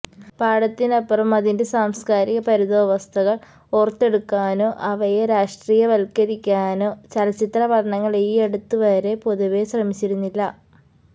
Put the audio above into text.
പാഠത്തിനപ്പുറം അതിന്റെ സാംസ്കാരിക പരിതോവസ്ഥകൾ ഓർത്തെടുക്കാനോ അവയെ രാഷ്ട്രീയവൽക്കരിക്കാനോ ചലച്ചിത്രപഠനങ്ങൾ ഈയടുത്തുവരെ പൊതുവെ ശ്രമിച്ചിരുന്നില്ല